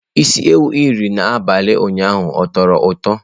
Isi ewu i riri n'abalị ụnyaahụ ọ tọrọ ụtọ?